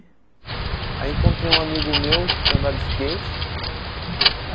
Aí encontrei um amigo meu que andava de skate.